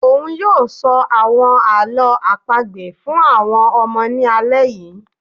òun ni yóò ṣọ àwọn àlọ́ àpagbè fún àwọn ọmọ ní alẹ́ yìí